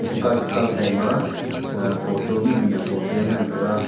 chikow chukow shaima photo mihnu hiya photo ngan taiga.